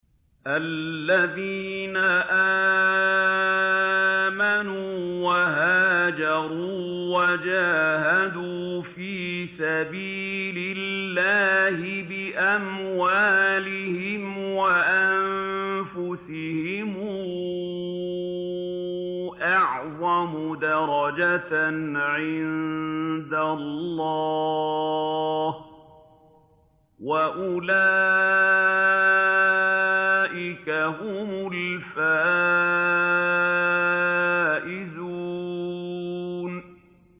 الَّذِينَ آمَنُوا وَهَاجَرُوا وَجَاهَدُوا فِي سَبِيلِ اللَّهِ بِأَمْوَالِهِمْ وَأَنفُسِهِمْ أَعْظَمُ دَرَجَةً عِندَ اللَّهِ ۚ وَأُولَٰئِكَ هُمُ الْفَائِزُونَ